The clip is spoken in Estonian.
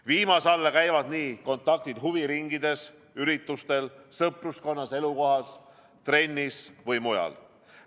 Viimase alla käivad kontaktid huviringides, üritustel, sõpruskonnas, elukohas, trennis või mujal.